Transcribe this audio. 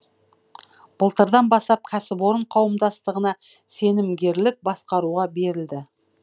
былтырдан бастап кәсіпорын қауымдастығына сенімгерлік басқаруға берілді